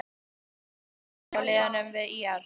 Er mikið samstarf hjá liðinu við ÍR?